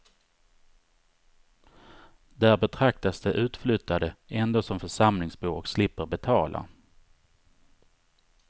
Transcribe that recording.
Där betraktas de utflyttade ändå som församlingsbor och slipper betala.